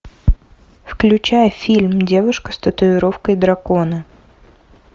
включай фильм девушка с татуировкой дракона